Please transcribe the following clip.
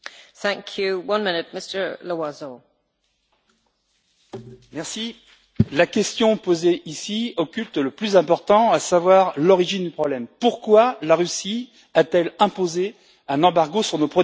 Madame la Présidente, la question posée ici occulte le plus important, à savoir l'origine du problème. Pourquoi la Russie a t elle imposé un embargo sur nos produits agricoles?